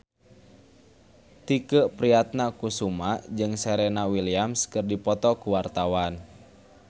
Tike Priatnakusuma jeung Serena Williams keur dipoto ku wartawan